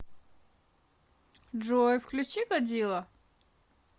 джой включи годзилла